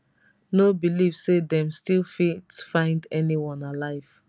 no believe say dem still fit find anyone alive